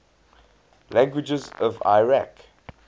languages of iraq